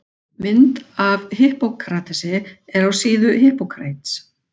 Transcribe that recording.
Mynd af Hippókratesi er af síðunni Hippocrates.